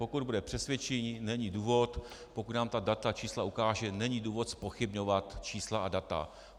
Pokud bude přesvědčivý, není důvod, pokud nám ta data, čísla ukáže, není důvod zpochybňovat čísla a data.